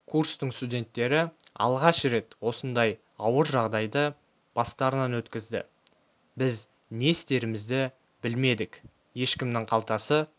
курстың студенттері алғаш рет осындай ауыр жағдайды бастарынан өткізді біз не істерімізді білмедік ешкімнің қалтасы